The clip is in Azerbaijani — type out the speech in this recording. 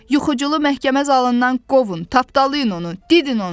Yuxucunu məhkəmə zalından qovun, tapdalayın onu, didin onu.